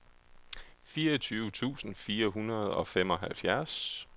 fireogtyve tusind fire hundrede og femoghalvfjerds